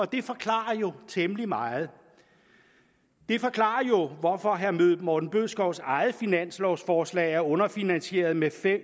det forklarer jo temmelig meget det forklarer hvorfor herre morten bødskovs eget finanslovforslag er underfinansieret med